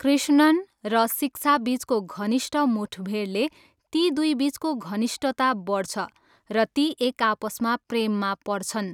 कृष्णन र शिक्षाबिचको घनिष्ठ मुठभेडले ती दुईबिचको घनिष्टता बढ्छ र ती एकआपसमा प्रेममा पर्छन्।